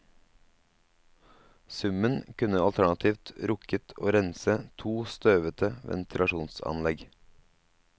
Summen kunne alternativt rukket til å rense to støvete ventilasjonsanlegg.